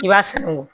I b'a sɛngu